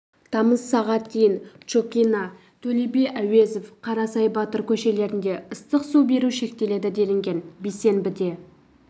тамыз сағат дейін чокина төле би әуезов қарасай батыр көшелірінде ыстық су беру шектеледі делінген бейсенбіде